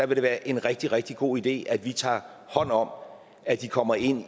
det være en rigtig rigtig god idé at vi tager hånd om at de kommer ind